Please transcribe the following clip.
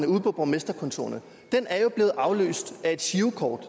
ude på borgmesterkontorerne er blevet afløst af girokort